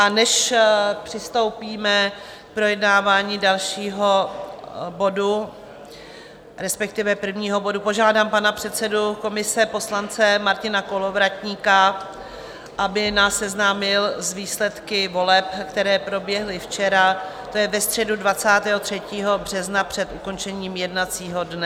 A než přistoupíme k projednávání dalšího bodu, respektive prvního bodu, požádám pana předsedu komise, poslance Martina Kolovratníka, aby nás seznámil s výsledky voleb, které proběhly včera, to je ve středu 23. března před ukončením jednacího dne.